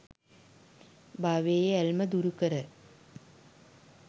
භවයේ ඇල්ම දුරුකර